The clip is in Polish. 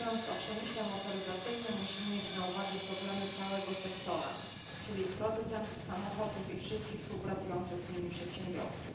Mówiąc o przemyśle motoryzacyjnym musimy mieć na uwadze problemy całego sektora, czyli producentów samochodów i wszystkich współpracujących z nimi przedsiębiorców.